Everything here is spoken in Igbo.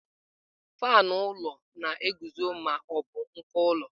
Faanụ ụlọ na-eguzo ma ọ bụ uko ụlọ.